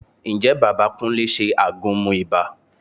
Ǹjẹ́ bàbá Kúnlé ṣe àgúnmu ibà?